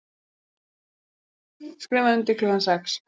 Skrifað undir klukkan sex